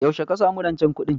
Yaushe ka sami rancen kuɗin?